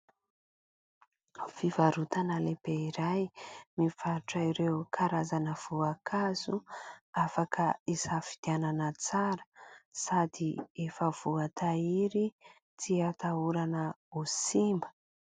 Fivarotana lehibe iray mivarotra ireo karazana voankazo afaka isafidianana tsara sady efa voatahiry tsy atahorana ho simba.